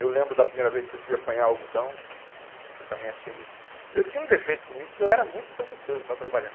Eu lembro da primeira vez que eu fui apanhar o algodão, que eu também achei muito... Eu tinha um defeito comigo, que eu era muito preguiçoso para trabalhar.